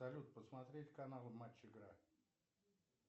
салют посмотреть канал матч игра